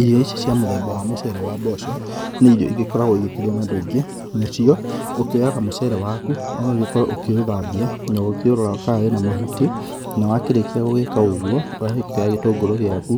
Irio ici cia mũthemba wa mũcere wa mboco nĩ irio ĩgĩkoragwo igĩkĩrĩyo nĩ andũ aingĩ. Nacio ũkĩoyaga mũcere waku ũgagĩkorwo ũkĩũthambia na ũgĩkĩũrora kana wĩna mahuti na wakĩrĩkia gũgĩka ũguo ũgakĩoya gĩtũngũrũ gĩaku